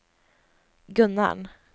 Gunnarn